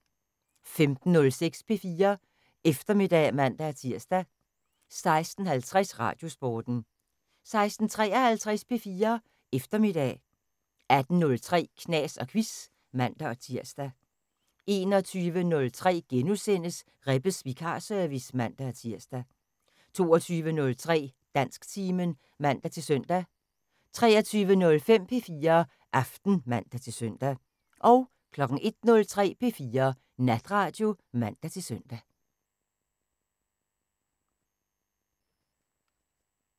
15:06: P4 Eftermiddag (man-tir) 16:50: Radiosporten 16:53: P4 Eftermiddag 18:03: Knas & Quiz (man-tir) 21:03: Rebbes vikarservice *(man-tir) 22:03: Dansktimen (man-søn) 23:05: P4 Aften (man-søn) 01:03: P4 Natradio (man-søn)